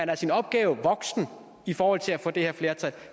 er sin opgave voksen i forhold til at få det her flertal